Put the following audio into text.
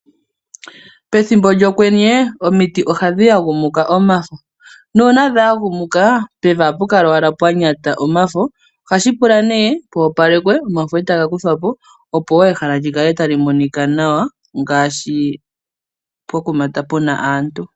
Pethimbo lyokwenye omiti ohadhi yagumuka omafo. Nuuna dha yagumuka pevi ohapu kala owala pwa nyata omafo . Ohashi pula nee poopalekwe omafo eta ga kuthwapo . Opo ehala lyikale tali monika nawa ngaashi pokuma puna aantu.